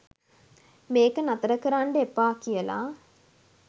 මේක නතර කරන්ඩ එපා කියලා.